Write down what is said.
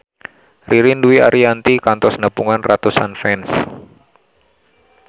Ririn Dwi Ariyanti kantos nepungan ratusan fans